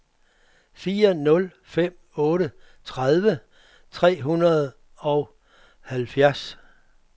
fire nul fem otte tredive tre hundrede og otteoghalvfjerds